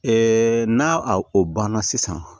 n'a o banna sisan